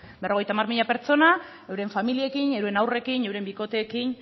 berrogeita hamar mila pertsona euren familiekin euren haurrekin euren bikoteekin